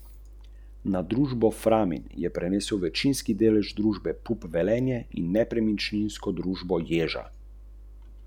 Želim, da podaljšamo pogodbo z njim in seveda bo dobil izboljšane pogoje.